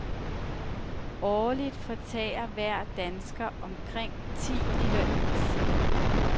Årligt fortærer hver dansker omkring ti liter is.